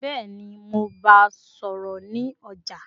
Bẹ́ẹ̀ni, mo bá a sọ̀rọ̀ ní ọjà